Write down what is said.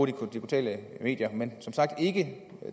digitale medier men det som sagt ikke